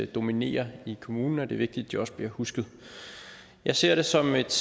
dominerer i kommunen det er vigtigt at de også bliver husket jeg ser det som et